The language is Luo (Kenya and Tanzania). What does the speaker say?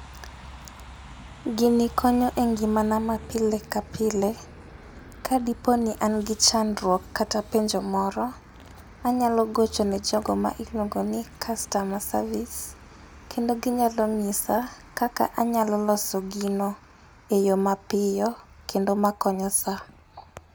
Gini konyo e ngimana ma pile ka pile ka diponi an gi chandruok kata penjo moro, anyalo gocho ne jogo ma iluongo ni customer service, kendo ginyalo ng'isa kaka anyalo loso gino e yo mapiyo kendo makonyo sa.